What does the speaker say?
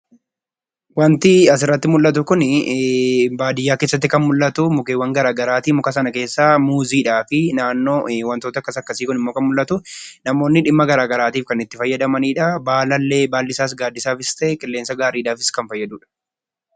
Wanti asirratti mul'atu kun baadiyyaa keessatti kan argamu mukeen gara garaati. Mukkeen sana keessaa muuziidhaafi naannoo wantootni akkas akkasii kun kan mul'atu. Namoonni dhimmoota gara gara garaaf kan itti fayyadamanidha. Baalli isaas qilleensaafis ta'e gaaddisa gaariif kan fayyadudha.